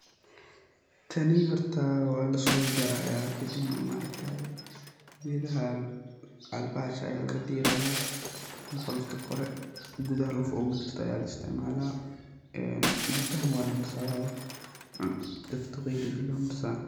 Tani horta waa lasoo jaraaya, kadib neh maaragtaye, geedaha bahasha ayaa laga diiraaya, qolofta Kore, gudaha laf ooga jirta ayaa laisticmaala, ee jilbaha neh waa lamarsadaa oo dadka duqeeyda jilbaha marsadaan.